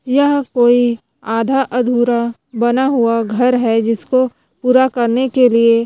यह कोई आधा अधुरा बना हुआ घर है जिसको पूरा करने के लिए--